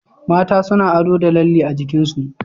Mata suna ado da lalle a jikinsu